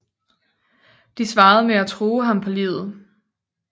De svarede med at true ham på livet